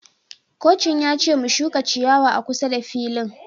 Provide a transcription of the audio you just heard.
Kocin ya ce mu shuka ciyawa a kusa da filin